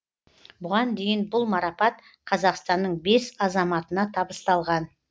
бұған дейін бұл марапат қазақстанның бес азаматына табысталған